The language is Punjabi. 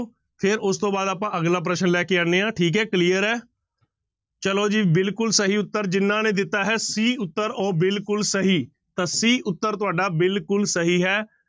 ਫਿਰ ਉਸ ਤੋਂ ਬਾਅਦ ਆਪਾਂ ਅਗਲਾ ਪ੍ਰਸ਼ਨ ਲੈ ਕੇ ਆਉਂਦੇ ਹਾਂ ਠੀਕ ਹੈ clear ਹੈ ਚਲੋ ਜੀ ਬਿਲਕੁਲ ਸਹੀ ਉੱਤਰ ਜਿਹਨਾਂ ਨੇ ਦਿੱਤਾ ਹੈ c ਉੱਤਰ ਉਹ ਬਿਲਕੁਲ ਸਹੀ ਤਾਂ c ਉੱਤਰ ਤੁਹਾਡਾ ਬਿਲਕੁਲ ਸਹੀ ਹੈ।